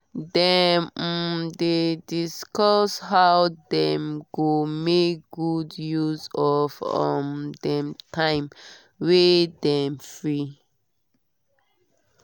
dem um dey discuss how dem go make good use of um dem time wey dem free.